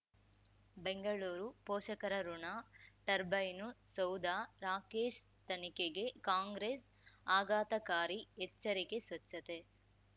ಬೆಂಗಳೂರು ಪೋಷಕರಋಣ ಟರ್ಬೈನು ಸೌಧ ರಾಕೇಶ್ ತನಿಖೆಗೆ ಕಾಂಗ್ರೆಸ್ ಆಘಾತಕಾರಿ ಎಚ್ಚರಿಕೆ ಸ್ವಚ್ಛತೆ